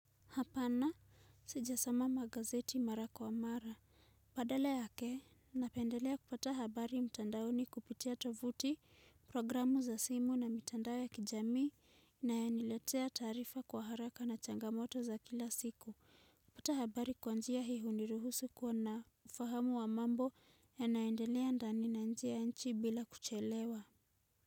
Hapana sijasoma magazeti mara kwa mara badale ya ke napendelea kupata habari mtandaoni kupitia tovuti programu za simu na mtandao ya kijami na ya niletea tarifa kwa haraka na changamoto za kila siku kupata habari kwa njia hii huniruhusu kwa na ufahamu wa mambo ya naendelea ndani na njia nchi bila kuchelewa.